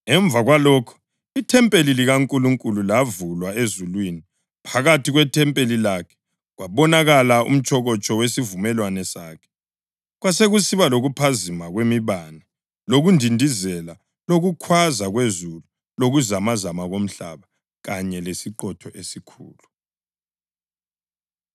Emva kwalokho ithempeli likaNkulunkulu lavulwa ezulwini phakathi kwethempeli lakhe kwabonakala umtshokotsho wesivumelwano sakhe. Kwasekusiba lokuphazima kwemibane lokundindizela lokukhwaza kwezulu lokuzamazama komhlaba kanye lesiqhotho esikhulu.